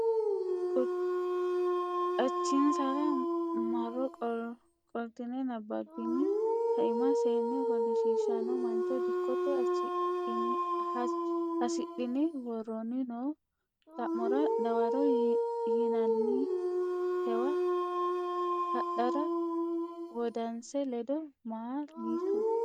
Qachinsara marro qoltine nabbabbini kaima seenne ofoshshiishshanno mancho Dikito assidhine woroonni noo xa mora dawaro yinannitewa hadhara wodanise ledo ma litu.